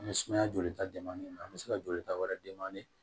An bɛ sumaya joli ta den man ɲi an bɛ se ka jolita wɛrɛ d'i ma